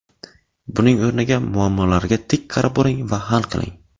Buning o‘rniga muammolarga tik qarab boring va hal qiling.